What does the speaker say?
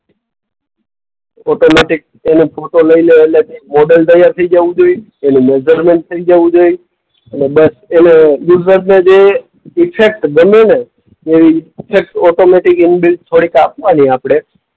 Automatic એનો photo લઈ લેવ એટલે મોડલ તૈયાર થઈ જાવું જોઈએ. એનું મેજરમેન્ટ થઈ જાવું જોઈએ. અને બસ એનો યુઝરને જે ઇફેક્ટ ગમે ને એ ઇફેક્ટ ઑટોમૅટિક ઇનબિલ્ટ થોડીક આપવાની આપણે.